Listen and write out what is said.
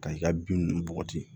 Ka i ka bin ninnu bɔgɔti